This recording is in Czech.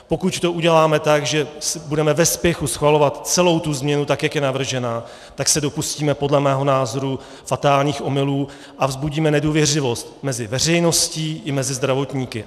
Pokud to uděláme tak, že budeme ve spěchu schvalovat celou tu změnu tak, jak je navržena, tak se dopustíme podle mého názoru fatálních omylů a vzbudíme nedůvěřivost mezi veřejností i mezi zdravotníky.